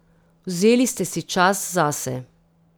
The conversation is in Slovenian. Vzeli ste si čas zase.